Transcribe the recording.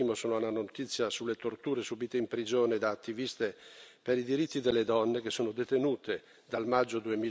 Il primo sono le notizie sulle torture subite in prigione da attiviste per i diritti delle donne, che sono detenute dal maggio